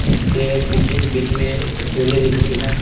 जिसके पीछे बीच में एक सीढ़ी दिख रही है।